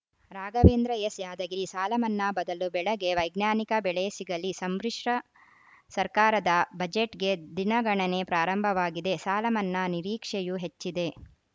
Raghavendra S Yadgir ಸಾಲ ಮನ್ನಾ ಬದಲು ಬೆಳೆಗೆ ವೈಜ್ಞಾನಿಕ ಬೆಲೆ ಸಿಗಲಿ ಸಮ್ಮಿಶ್ರ ಸರ್ಕಾರದ ಬಜೆಟ್‌ಗೆ ದಿನಗಣನೆ ಪ್ರಾರಂಭವಾಗಿದೆ ಸಾಲಮನ್ನಾ ನಿರೀಕ್ಷೆಯೂ ಹೆಚ್ಚಿದೆ